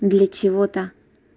для чего-то